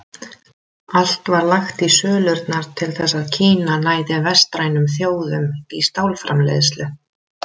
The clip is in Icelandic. Allt var lagt í sölurnar til þess að Kína næði vestrænum þjóðum í stálframleiðslu.